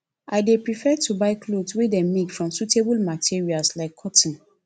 i dey prefer to buy clothes wey dem make from sustainable materials like cotton